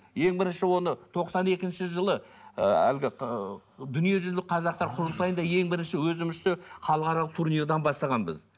ең бірінші оны тоқсан екінші жылы ыыы әлгі ы дүниежүзілік қазақтар құрылтайында ең бірінші өзімізше халықаралық турнирдан бастағанбыз